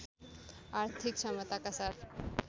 आर्थिक क्षमताका साथ